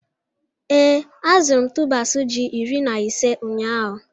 Ee, azụrụ m tubers ji iri na ise ụnyahụ?